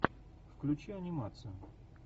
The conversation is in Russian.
включи анимацию